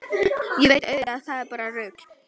Ég veit auðvitað að það er bara rugl.